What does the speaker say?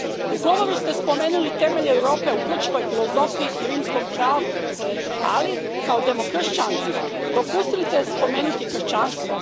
U govoru ste spomenuli temelje Europe u grčkoj filozofiji i rimskom pravu, ali kao demokršćanka propustili ste spomenuti kršćanstvo.